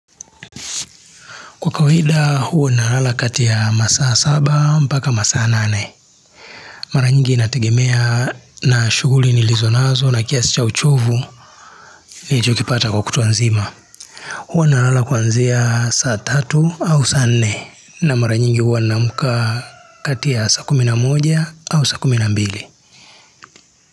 Kwa kawaida huwa nalala kati ya masaa saba mpaka masaa nane. Mara nyingi inategemea na shughuli nilizo nazo na kiasi cha uchovu nilichokipata kwa kutwa nzima. Huwa nalala kuanzia saa tatu au saa nne na mara nyingi huwa naamka kati ya saa kumi na moja au saa kumi na mbili.